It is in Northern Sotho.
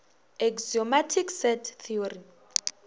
axiomatic set theory